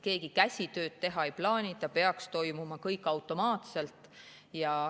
Keegi käsitsitööd teha ei plaani, kõik peaks toimuma automaatselt.